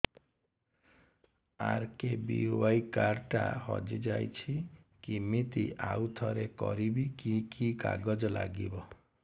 RKBY card ଟା ହଜିଯାଇଛି କିମିତି ଆଉଥରେ କରିବି କି କି କାଗଜ ଲାଗିବ